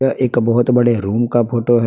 यह एक बहोत बड़े रूम का फोटो है।